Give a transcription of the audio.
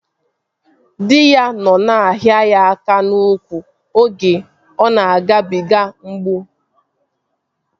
Dị ya nọ na-ahịa ya aka n'úkwù oge ọ na-agabiga mgbu